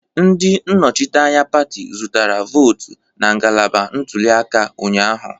Ndị nnọchiteanya pati zụtara votu na ngalaba ntuli aka ụnyahụ